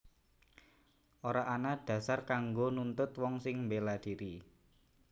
Ora ana dhasar kanggo nuntut wong sing mbéla dhiri